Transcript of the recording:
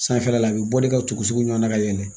Sanfɛla la a bɛ bɔ ne ka tugu sugu ɲuman na ka yɛlɛ